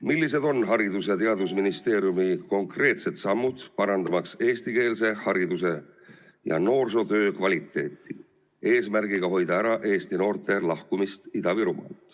Millised on Haridus‑ ja Teadusministeeriumi konkreetsed sammud, parandamaks eestikeelse hariduse ja noorsootöö kvaliteeti, eesmärgiga hoida ära eesti noorte lahkumist Ida-Virumaalt?